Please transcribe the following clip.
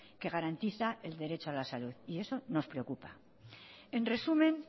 que garantiza el derecho a la salud y eso nos preocupa en resumen